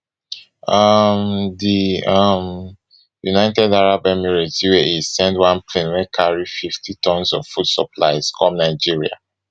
um di um united arab emirates uae send one plane wey carry fifty tons of food supplies come nigeria